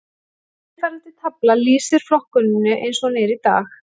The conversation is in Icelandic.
Eftirfarandi tafla lýsir flokkuninni eins og hún er í dag.